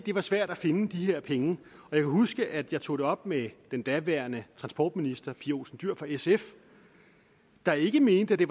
var svært at finde de her penge jeg kan huske at jeg tog det op med den daværende transportminister pia olsen dyhr fra sf der ikke mente at det